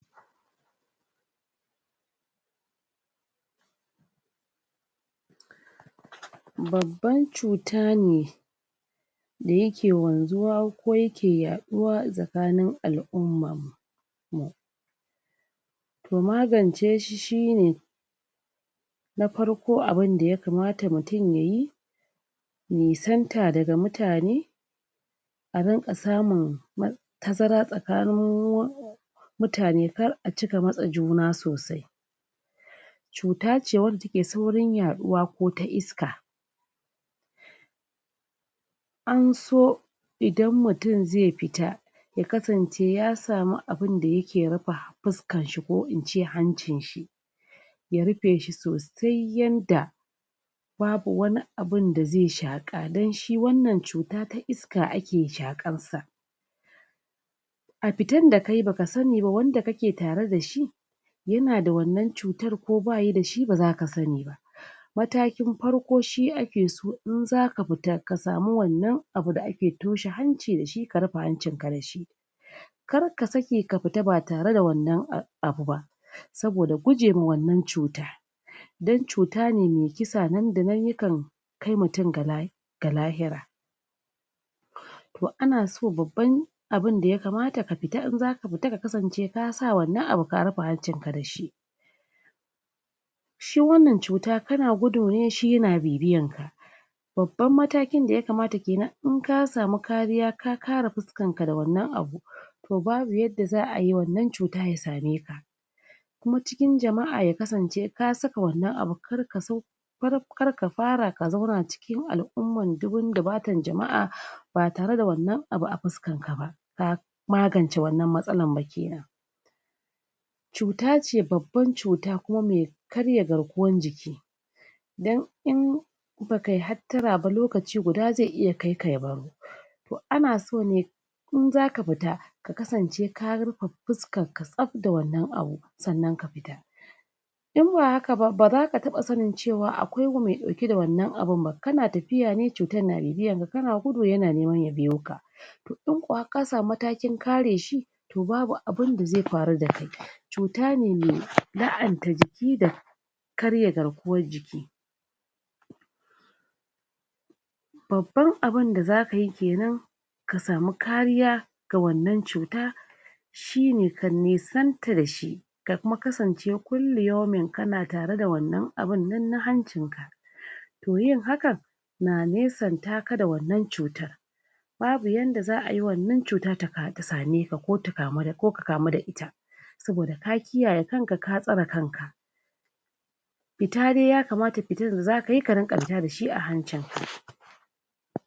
Babban cuta ne da yake wanzuwa, ko yake yaɗuwa a tsakanin al'umman mu. To, magance shi shine: na farko abinda ya kamata mutum yayi, nisanta daga mutane, a rinƙa samun tazara tsakanin mutane, kar a cika matse juna sasai. Cuta ce wacce take saurin yaɗuwa ko ta iska, an so idan mutum zai fita, ya kasance ya samu abinda yike rufe fuskan shi, ko in ce hancin shi, ya rife shi sosai yanda babu wani abunda zai shaƙa, dan shi wannan cuta ta iska ake shaƙar sa. A fitan da kayi baka sani ba, wanda kake tare dashi yana da wannan cutar, ko bayi dashi, ba zaka sani ba. Matakin farko shi ake so in zaka fita, ka samu wannan abu da ake toshe da shi, ka rufe hancin ka da shi. Kar ka sake ka futa ba tare da wannan abu ba, saboda gujema wannan cuta. Dan cuta ne mai kisa, nan da nan yikan kai mutun ga ga lahira. To, ana so babban abunda ya kamata, ka futa in zaka futa ya kasance ka sa wannan abu ka rufe hancin ka da shi. Shi wannan cuta, kana gudu ne shi yana bibiyan ka. Babban matakin da ya kamat kenan, in ka samu kariya, ka kare fuskar ka da wannan abu, to babu yanda wannan cuta ya same ka. Kuma cikin jama'a ya kasance ka saka wanna abu, kar kar ka fara ka zauna cikin al'umman dubun dubatan jama'a, ba tare da wannan abu a fuskan ka ba, ka magance wannan matsalan ba kenan. Cuta ce babban cuta, kuma me karya garkuwan jiki, dan in ba kai hattara ba, lokaci guda zai iya kaika ya baro. To, ana so ne in zaka futa, ka kasance ka rufe fuskar ka zaf da wannan abu, sannan ka fita. In ba haka ba, ba zaka taɓa sanin cewa akwai me ɗauke da wannan abun ba, kana tafiya ne cutan na bibiyan ka, kana gudu yana neman ya biyo ka. To, in ko har ka samu matakin ka re shi, to babu abunda zai faru da kai. Cuta ne me la'anta jiki da karya garkuwan jiki. Babban abunda za kayi kenan, ka samu kariya ga wannan cuta, shine ka nisanta da shi, ka kuma kasance kulli yaumin, kana tare da wannan abunnan na hancin ka. To, yin hakan na nesanta ka da wannan cutan, babu yanda za ayi wannan cuta ta same ka, ko ka kamu da ita, saboda ka kiyaye kan ka, ka tsare kan ka. Fita dai ya kamata, fitan da zakayi ka rinƙa fita dashi a hancin ka.